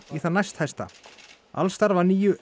í þann næsthæsta alls starfa níu